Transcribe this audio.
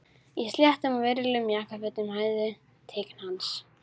Í sléttum og virðulegum jakkafötum sem hæfðu tign hans.